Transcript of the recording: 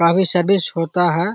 काफी सर्विस होता है ।